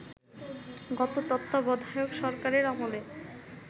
গত তত্ত্বাবধায়ক সরকারের আমলে